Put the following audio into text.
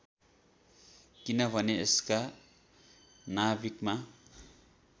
किनभने यसका नाभिकमा